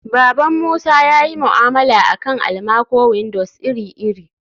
baban musa yayi mu'amala akan almaco-windows iri-iri